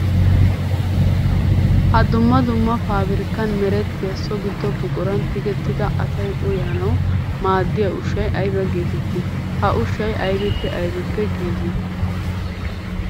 Ha dumma dumma paabirkkan merettiya so gido buquran tiggettidda asay uayanawu maaddiya ushshay aybba geetetti? Ha ushshay aybbippe aybbippe giiggi?